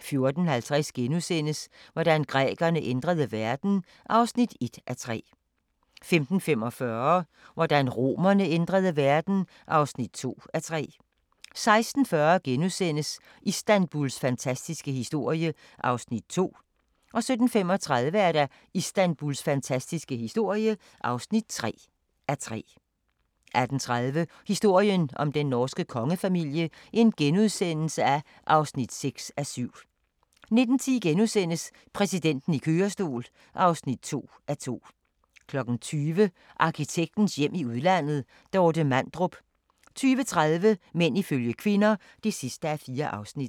14:50: Hvordan grækerne ændrede verden (1:3)* 15:45: Hvordan romerne ændrede verden (2:3) 16:40: Istanbuls fantastiske historie (2:3)* 17:35: Istanbuls fantastiske historie (3:3) 18:30: Historien om den norske kongefamilie (6:7)* 19:10: Præsidenten i kørestol (2:2)* 20:00: Arkitektens hjem i udlandet: Dorte Mandrup 20:30: Mænd ifølge kvinder (4:4)